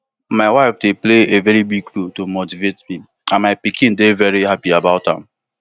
my wife dey play a big role to motivate me and my pikin dey veri happy about am